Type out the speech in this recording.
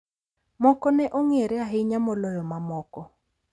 Moko ne ong’ere ahinya moloyo mamoko.